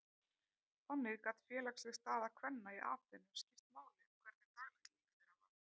Þannig gat félagsleg staða kvenna í Aþenu skipt máli um hvernig daglegt líf þeirra var.